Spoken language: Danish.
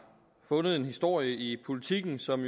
fundet en historie i politiken som